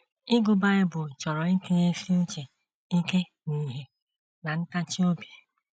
“ Ịgụ Bible chọrọ itinyesi uche ike n’ihe na ntachi obi. ”